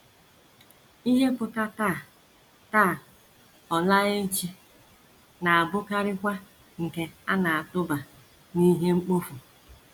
Ihe ‘ pụta ’ taa, taa, ọ ‘ laa ’ echi, na - abụkarịkwa nke a na - atụba n’ihe mkpofu.